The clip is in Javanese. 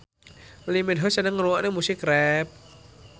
Lee Min Ho seneng ngrungokne musik rap